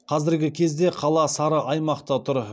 қазіргі кезде қала сары аймақта тұр